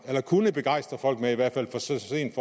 kunne begejstre folk med i hvert fald så sent